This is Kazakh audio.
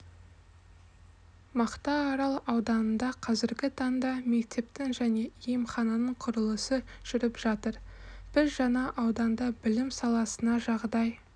мақтаарал ауданында қазіргі таңда мектептің және емхананың құрылысы жүріп жатыр біз жаңа ауданда білім саласына жағдай